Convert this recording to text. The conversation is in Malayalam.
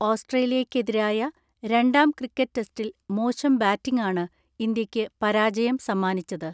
ഓസ്ട്രേലിയയ്ക്കെതിരായ രണ്ടാം ക്രിക്കറ്റ് ടെസ്റ്റിൽ മോശം ബാറ്റിംഗാണ് ഇന്ത്യയ്ക്ക് പരാജയം സമ്മാനിച്ചത്.